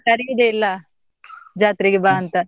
ಕರೆಯುದೇ ಇಲ್ಲ, ಜಾತ್ರೆಗೆ ಬಾ ಅಂತ?